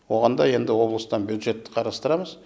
оған да енді облыстан бюджет қарастырамыз